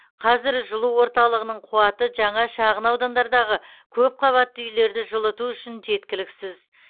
қазір жылу орталығының қуаты жаңа шағын аудандардағы көпқабатты үйлерді жылыту үшін жеткіліксіз